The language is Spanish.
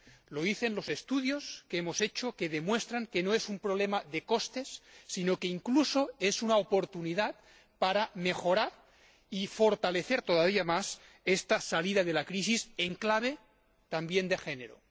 Lo dicen los estudios que hemos hecho, que demuestran que no es un problema de costes, sino que incluso es una oportunidad para mejorar y fortalecer todavía más esta salida de la crisis, en clave también de género.